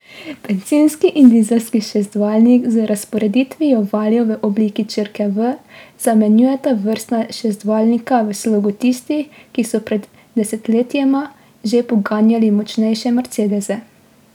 Bencinski in dizelski šestvaljnik z razporeditvijo valjev v obliki črke V zamenjujeta vrstna šestvaljnika v slogu tistih, ki so pred desetletjema že poganjali močnejše mercedese.